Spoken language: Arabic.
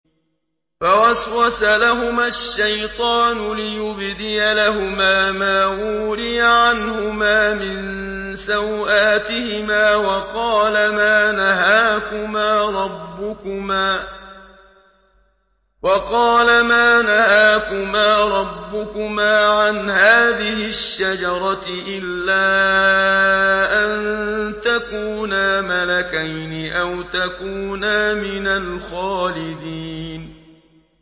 فَوَسْوَسَ لَهُمَا الشَّيْطَانُ لِيُبْدِيَ لَهُمَا مَا وُورِيَ عَنْهُمَا مِن سَوْآتِهِمَا وَقَالَ مَا نَهَاكُمَا رَبُّكُمَا عَنْ هَٰذِهِ الشَّجَرَةِ إِلَّا أَن تَكُونَا مَلَكَيْنِ أَوْ تَكُونَا مِنَ الْخَالِدِينَ